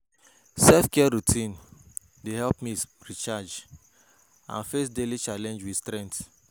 Self-care routines dey help me recharge and face daily challenges with strength.